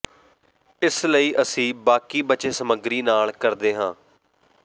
ਇਸ ਲਈ ਅਸੀਂ ਬਾਕੀ ਬਚੇ ਸਮੱਗਰੀ ਨਾਲ ਕਰਦੇ ਹਾਂ